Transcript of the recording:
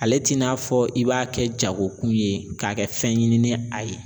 Ale t'i n'a fɔ i b'a kɛ jago kun ye k'a kɛ fɛn ɲinini ni a ye